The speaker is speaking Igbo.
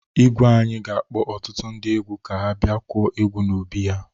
Igwe anyị ga-akpọ ọtụtu ndị egwu ka ha bịa kụọ egwu n'obi ya.